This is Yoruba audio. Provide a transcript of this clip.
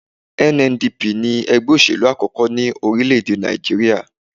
NNDP ní ẹgbẹ́ òṣèlú àkọ́kọ́ ní orílẹ̀-èdè Nàìjíríyà